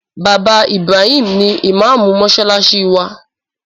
Bàbá Ibrahim ni ìmáàmù mọ́ṣáláṣí wa.